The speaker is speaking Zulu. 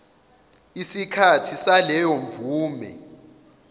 isikhathi saleyo mvume